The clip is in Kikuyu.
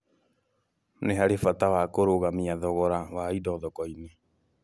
Nĩ harĩ bata wa kũrũgamia thogora wa indo thoko-inĩ.